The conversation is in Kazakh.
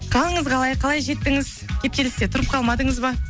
қалыңыз қалай қалай жеттіңіз кептелісте тұрып қалмадыңыз ба